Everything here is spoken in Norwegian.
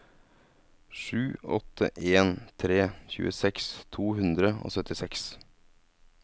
sju åtte en tre tjueseks to hundre og syttiseks